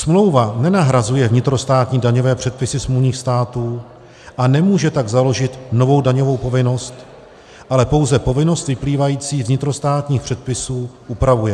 Smlouva nenahrazuje vnitrostátní daňové předpisy smluvních států, a nemůže tak založit novou daňovou povinnost, ale pouze povinnost vyplývající z vnitrostátních předpisů upravuje.